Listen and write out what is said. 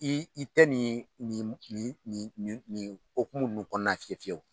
I i tɛ nin nin nin hokumu kɔnɔna fiye fiyewu